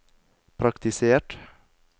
praktisert